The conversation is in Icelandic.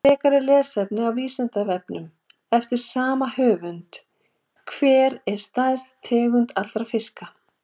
Frekara lesefni á Vísindavefnum eftir sama höfund: Hver er stærsta tegund allra fiska?